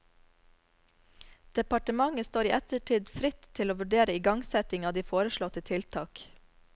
Departementet står i ettertid fritt til å vurdere ingangsetting av de foreslåtte tiltak.